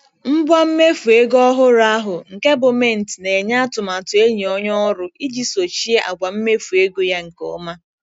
Ngwa mmefu ego ọhụrụ ahụ, nke bu Mint, na-enye atụmatụ enyi onye ọrụ iji sochie àgwà mmefu ego ya nke ọma.